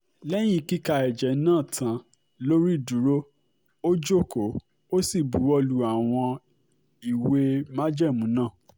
lẹ́yìn kíka ẹ̀jẹ̀ náà tán lórí ìdúró ó jókòó ó sì buwọ́ lu àwọn ìwé májẹ̀mú náà